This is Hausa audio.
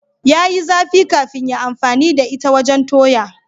Ya yi zafi kafin ya amfani da ita wajen toya.